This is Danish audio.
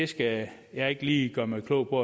skal jeg ikke lige gøre mig klog på